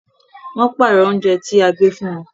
Wọ́n pààrọ̀ oúnjẹ tí gbe fún wọn